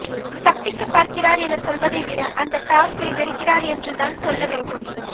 தப்பிக்க பார்க்கிறார் என சொல்லுவதை விட அந்த டாஸ்க்கை வெறுக்கிறார் என்று தான் சொல்ல வேண்டும்